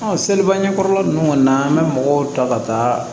seliba ɲɛkɔrɔla nunnu kɔni na an bɛ mɔgɔw ta ka taa